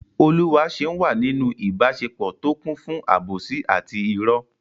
Oluwaseun wà nínú ìbáṣepọ̀ tó kún fún àbòsí àti ìrọ́.